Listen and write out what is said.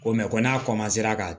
Ko ko n'a ka